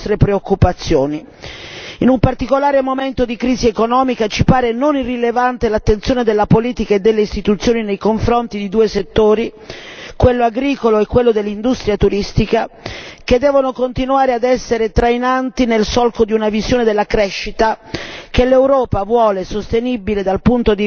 In un particolare momento di crisi economica, ci pare non irrilevante l'attenzione della politica e delle istituzioni nei confronti di due settori quello agricolo e quello dell'industria turistica che devono continuare ad essere trainanti nel solco di una visione della crescita che l'Europa vuole sostenibile dal punto di vista anche ambientale